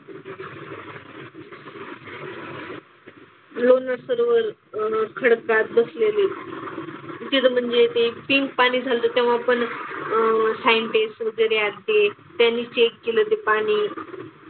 लोणार सरोवर अह खडकात बसलेले आहे. तिथं म्हणजे ते पिंक पाणी झालं तेव्हा पण अह Scientists वगैरे आल्ते. त्यांनी check केलं ते पाणी.